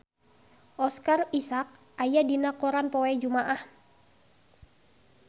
Oscar Isaac aya dina koran poe Jumaah